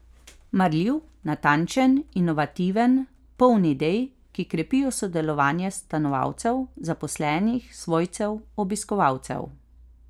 Marljiv, natančen, inovativen, poln idej, ki krepijo sodelovanje stanovalcev, zaposlenih, svojcev, obiskovalcev.